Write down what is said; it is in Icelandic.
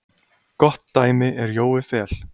Gott dæmi er Jói Fel.